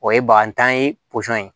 O ye bagatan ye